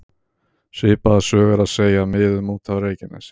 Svipaða sögu er að segja af miðum út af Reykjanesi.